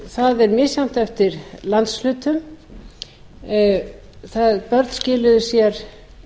það er misjafnt eftir landshlutum börn skiluðu sér börn skiluðu sér